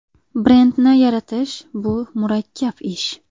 Brendni yaratish bu murakkab ish.